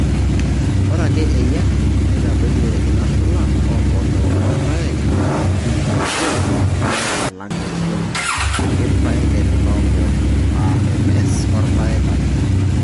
Ore ake eyia neitadoiyie inashula oompoosho orpaek aa MD eishoi oo irpaek alang eishoi oo irpaek eshula ompoosho aa MS orpaek ake aa M.